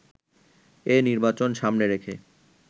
এ নির্বাচন সামনে রেখে